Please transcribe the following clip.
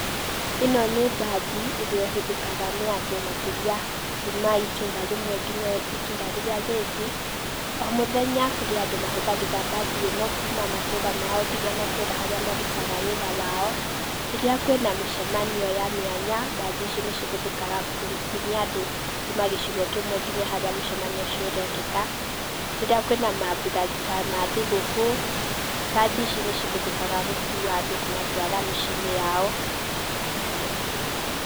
Ĩno nĩ mbathi ĩrĩa ĩhũthĩkaga nĩ andũ makĩria kuma itũra rĩmwe nginya itũra rĩrĩa rĩngĩ. O mũthenya, kũrĩ andũ mahuthagĩra mbathi ĩno kuma matũra mao nginya matũra harĩa marutaga wĩra wao, rĩrĩa kwĩna mĩcemanio ya mĩanya, mbathi ici nĩ cihũthĩkaga kumia andũ kuma gĩcigo kĩmwe nginya harĩa mũcamanio ũcio ũrekĩka, rĩrĩa kwĩna mambura ta ma thigũkũ, mbathi ici nĩcihũthĩkaga gũkua andũ kũmatwara mĩciĩ-inĩ yao